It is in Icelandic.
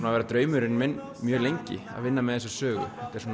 að vera draumurinn minn mjög lengi að vinna með þessu sögu